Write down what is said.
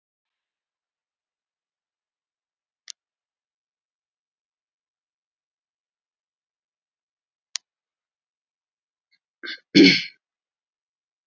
Niðurtalningin var hafin.